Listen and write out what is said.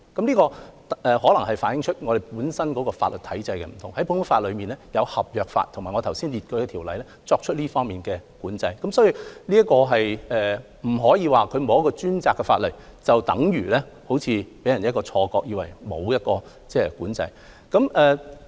這可能是由於我們法律體制不同，在普通法中，有合約法及我剛才列舉的條例作出這方面的管制，所以不可以說沒有一項專責的法例，便等如完全沒有管制，這樣會予人一種錯覺。